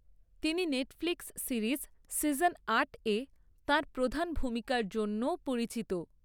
তিনি Netflix series season আটে তাঁর প্রধান ভূমিকার জন্যও পরিচিত।